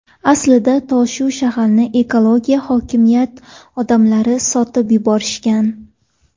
Aslida tosh-u shag‘alni ekologiya, hokimiyat odamlari sotib yuborishgan.